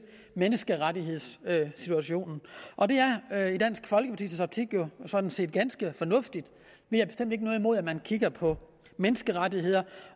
menneskerettighedssituationen og det er jo i dansk folkepartis optik sådan set ganske fornuftigt vi har bestemt ikke noget imod at man kigger på menneskerettigheder